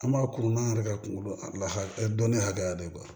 An b'a kurun n'an yɛrɛ ka kungolo la dɔnniya hakɛya de ye